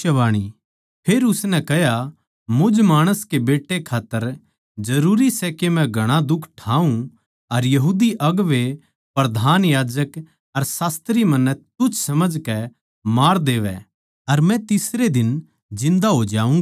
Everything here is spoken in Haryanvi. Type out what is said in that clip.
फेर उसनै कह्या मुझ माणस कै बेट्टे खात्तर जरूरी सै के मै घणा दुख ठाऊँ अर यहूदी अगुवें प्रधान याजक अर शास्त्री मन्नै तुच्छ समझकै मार देवै अर मै तीसरै दिन जिन्दा हो जाऊँगा